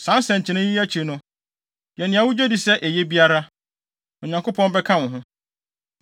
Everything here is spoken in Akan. Saa nsɛnkyerɛnne yi akyi no, yɛ nea wugye di sɛ eye biara, na Onyankopɔn bɛka wo ho.